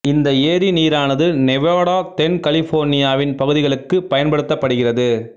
இந்த ஏரி நீரானது நெவாடா தென் கலிபோர்னியாவின் பகுதிகளுக்குப் பயன்படுத்தப்படுகிறது